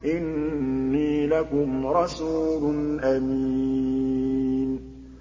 إِنِّي لَكُمْ رَسُولٌ أَمِينٌ